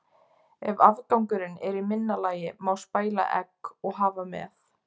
Ef afgangurinn er í minna lagi má spæla egg og hafa með.